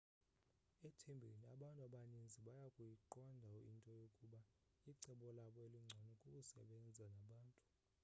ethembeni abantu abaninzi bayakuyiqonda into yokuba icebo labo elingcono kukusebenza nabantu